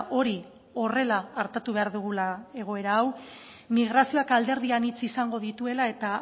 hori horrela artatu behar dugula egoera hau migrazioak alderdi anitz izango dituela eta